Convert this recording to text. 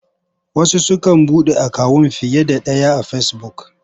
Wasu sukan buɗe akawun fiye da ɗaya a Fesibuk.